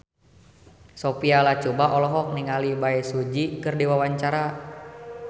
Sophia Latjuba olohok ningali Bae Su Ji keur diwawancara